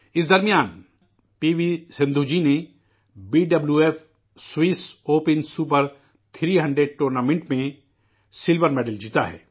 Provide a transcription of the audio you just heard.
اس درمیان P V Sindhu ji نے B W F Swiss Open Super 300 tournament میں چاندی کا تمغہ جیتا ہے